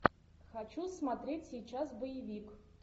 хочу смотреть сейчас боевик